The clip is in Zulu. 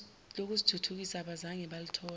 lokuzithuthukisa abangazange balithola